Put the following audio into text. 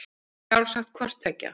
Sjálfsagt hvort tveggja.